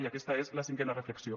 i aquesta és la cinquena reflexió